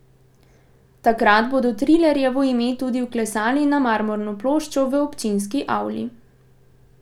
Takrat bodo Trilarjevo ime tudi vklesali na marmorno ploščo v občinski avli.